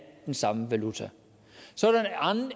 den samme valuta så